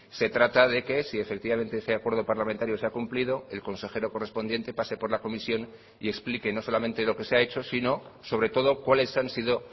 se trata de que si efectivamente ese acuerdo parlamentario se ha cumplido el consejero correspondiente pase por la comisión y explique no solamente lo que se ha hecho sino sobre todo cuáles han sido